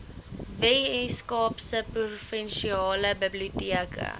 weskaapse provinsiale biblioteke